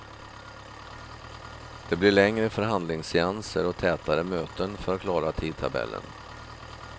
Det blir längre förhandlingsseanser och tätare möten för att klara tidtabellen.